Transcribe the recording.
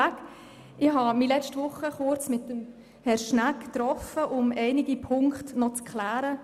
Vorweg: Ich habe mich letzte Woche kurz mit Herrn Schnegg getroffen, um einige Punkte klären zu können.